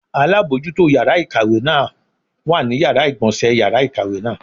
Alábojútó yàrá ìkàwé náà wà ní Yàrá ìgbọ̀nsé yàrá ìkàwé náà.